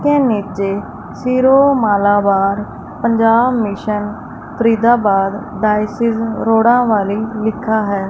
के नीचे Syro Malabar Punjab mission Faridabad diocese रोड़ा वाली लिखा है।